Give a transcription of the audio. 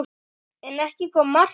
En ekki kom markið.